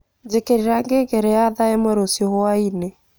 njīkīrīra ngengere ya thaa īmwe rūcio hwainī